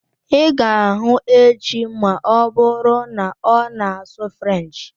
I ga hụ echi ma ọbụrụ na-ona asụ french